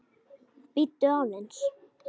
Bíddu aðeins